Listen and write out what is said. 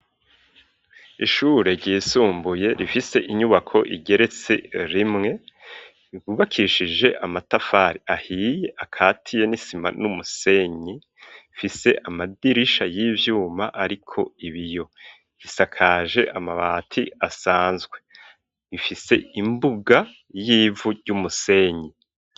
Ishure ryisumbuye rifise inyubako igeretse rimwe rwubakishije amatafari ahiye akatiye n'isima n'umusenyi ifise amadirisha y'ivyuma ariko ibiyo isakaje amabati asanzwe ifise imbuga y'ivu ry'umusenyi.